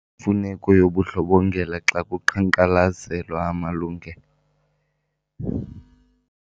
mfuneko yobundlobongela xa kuqhankqalazelwa amalungelo.